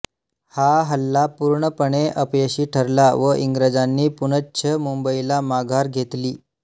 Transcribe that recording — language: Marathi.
हा हल्ला पूर्णपणे अपयशी ठरला व इंग्रजांनी पुनश्च मुंबईला माघार घेतली